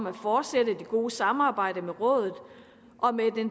at fortsætte det gode samarbejde med rådet og med